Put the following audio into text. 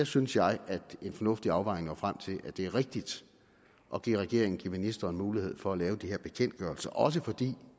synes jeg fornuftig afvejning er nået frem til at det er rigtigt at give regeringen give ministeren mulighed for at lave de her bekendtgørelser også fordi